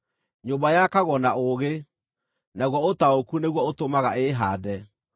Nyũmba yakagwo na ũũgĩ, naguo ũtaũku nĩguo ũtũmaga ĩĩhaande;